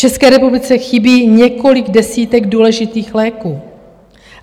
České republice chybí několik desítek důležitých léků.